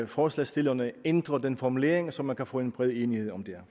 forslagsstillerne ændrer den formulering så man kan få en bred enighed om det